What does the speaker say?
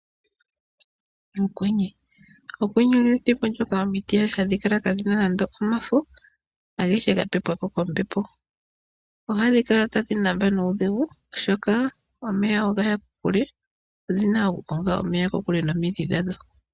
Okwenye olyo ethimbo lyoka omiti hadhi kala kaadhina nande omafo agehe ga pepwako kombepo. Ohadhi kala tadhi hupu nuudhigu oshoka omeya ogaya kokule . Odhina oku konga omeya kokule nomidhi dhadho.